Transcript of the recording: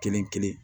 Kelen kelen